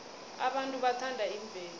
abantu bathanda imvelo